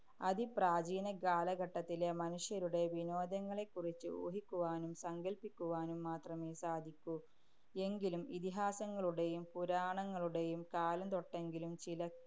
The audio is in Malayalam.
അതിപ്രാചീന കാലഘട്ടത്തിലെ മനുഷ്യരുടെ വിനോദങ്ങളെക്കുറിച്ച് ഊഹിക്കുവാനും, സങ്കല്പിക്കുവാനും മാത്രമേ സാധിക്കു. എങ്കിലും, ഇതിഹാസങ്ങളുടെയും പുരാണങ്ങളുടെയും കാലം തൊട്ടെങ്കിലും ചില